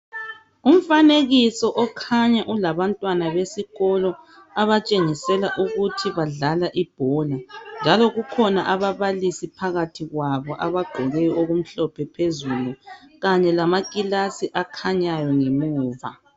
Umfanekiso okhanya ulabantwana besikolo okutshengisela ukuthi badlala ibhola njalo kukhona ababalisi phakathi kwabo abagqoke okumhlophe phezulu kanye lamakilasi akhanyayo ngemuva.